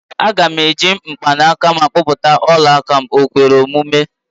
Aga m eji mgbanaka m akpụta ọla aka, okwere omume?